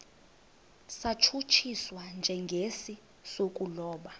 satshutshiswa njengesi sokulobola